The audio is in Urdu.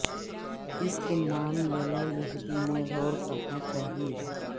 اس کے نام یلا یہودیوں نے غور کرنا چاہیے